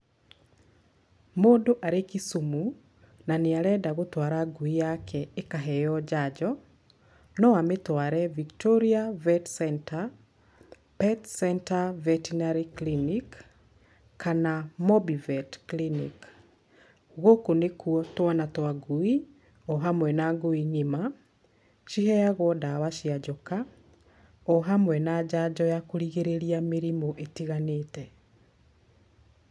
Mũndũ arĩ Kisumu, na nĩ arenda gũtwara ngui yake ĩkaheywo njanjo, no amĩtware Victoria vet center, Pet center vetinery clinic, kana Mobi vet clinic. Gũkũ nĩkwo twana twa ngui, o hamwe na ngui ng'ima, ciheyagwo ndawa cia njoka, o hamwe na njanjo ya kũrigĩrĩria mĩrĩmũ itiganĩte.